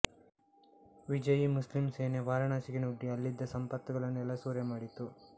ವಿಜಯೀ ಮುಸ್ಲಿಂ ಸೇನೆ ವಾರಾಣಸಿಗೆ ನುಗ್ಗಿ ಅಲ್ಲಿದ್ದ ಸಂಪತ್ತನ್ನೆಲ್ಲ ಸೂರೆಮಾಡಿತು